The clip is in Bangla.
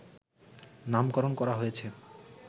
নামকরণ করা হয়েছে